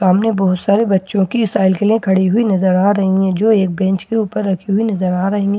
सामने बहुत सारे बच्चों की साइकिलें खड़ी हुई नज़र आ रही हैं जो एक बेंच पर रखी नज़र आ रही हैं।